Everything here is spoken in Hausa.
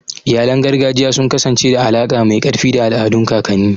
Iyalan gargajiya sun kasance da alaƙa mai ƙarfi da al'adun kakanni.